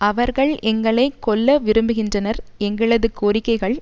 அவர்கள் எங்களை கொல்ல விரும்புகின்றனர் எங்களது கோரிக்கைகள்